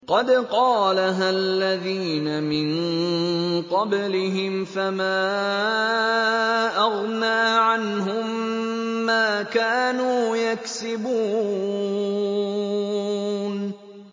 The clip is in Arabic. قَدْ قَالَهَا الَّذِينَ مِن قَبْلِهِمْ فَمَا أَغْنَىٰ عَنْهُم مَّا كَانُوا يَكْسِبُونَ